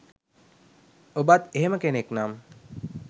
ඔබත් එහෙම කෙනෙක් නම්